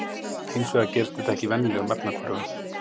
Hins vegar gerist þetta ekki í venjulegum efnahvörfum.